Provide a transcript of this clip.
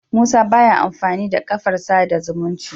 Musa baya amfani da kafar sada zumunci